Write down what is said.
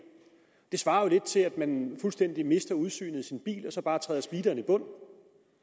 det svarer jo lidt til at man fuldstændig mister udsynet i sin bil og så bare træder speederen i bund